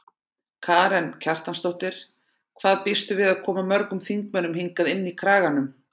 Karen Kjartansdóttir: Hvað býstu við að koma mörgum þingmönnum hingað inn í Kraganum?